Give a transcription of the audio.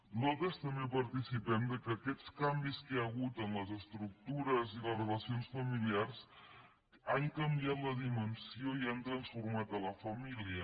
nosaltres també participem del fet que aquests canvis que hi ha hagut en les estructures i en les relacions familiars han canviat la dimensió i han trans·format a la família